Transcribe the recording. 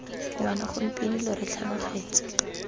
ngwana gompieno lo re tlhanogetse